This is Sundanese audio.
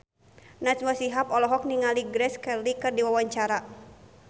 Najwa Shihab olohok ningali Grace Kelly keur diwawancara